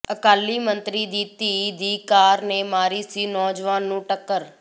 ਅਕਾਲੀ ਮੰਤਰੀ ਦੀ ਧੀ ਦੀ ਕਾਰ ਨੇ ਮਾਰੀ ਸੀ ਨੌਜਵਾਨ ਨੂੰ ਟੱਕਰ